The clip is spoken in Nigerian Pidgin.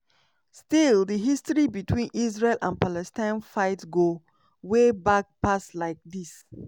still dihistory between israel and palestine fightgo way back pass like dis.